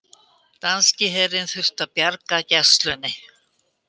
Danski herinn þurfti að bjarga Gæslunni